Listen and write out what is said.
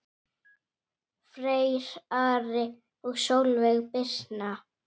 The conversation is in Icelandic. Freyr, Ari og Sólveig Birna.